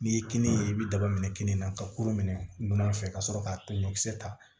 N'i ye kini ye i bɛ daba minɛ kini na ka kurun minɛ nɔnɔ fɛ ka sɔrɔ k'a ta ɲɔkisɛ ta